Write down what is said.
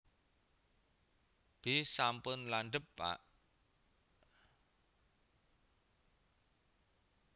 B sampun landhep pak